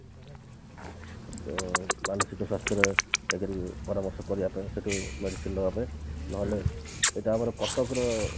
ଅ ମାନସିକ ସ୍ଵାସ୍ଥ୍ୟର ପରାମର୍ଶ କରିବା ପାଇଁ ସେଠୁ medicine ନେବା ପାଇଁ ନହେଲେ ସେଟା ଆମର କଟକ ର